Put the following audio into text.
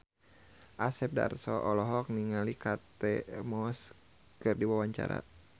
Asep Darso olohok ningali Kate Moss keur diwawancara